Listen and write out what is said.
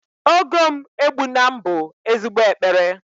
Ogo m egbuna m bu ezigbo ekpere